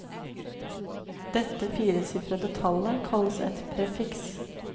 Dette firesifrede tallet kalles et prefiks.